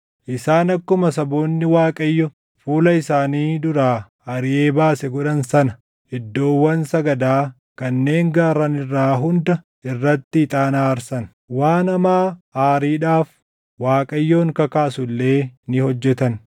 Isaan akkuma saboonni Waaqayyo fuula isaanii duraa ariʼee baase godhan sana iddoowwan sagadaa kanneen gaarran irraa hunda irratti ixaana aarsan. Waan hamaa aariidhaaf Waaqayyoon kakaasu illee ni hojjetan.